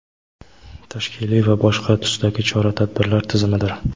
tashkiliy va boshqa tusdagi chora-tadbirlar tizimidir.